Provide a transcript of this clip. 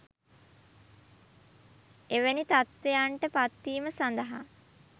එවැනි තත්ත්වයන්ට පත්වීම සඳහා